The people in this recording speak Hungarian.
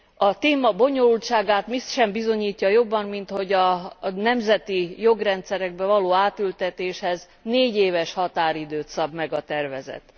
A téma bonyolultságát mi sem bizonyítja jobban, mint hogy a nemzeti jogrendszerekbe való átültetéshez négyéves határidőt szab meg a tervezet.